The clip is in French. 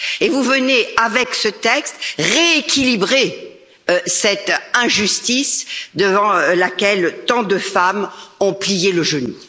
Vous venez par ce texte rééquilibrer cette injustice devant laquelle tant de femmes ont plié le genou.